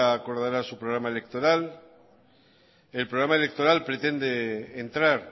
acordará su programa electoral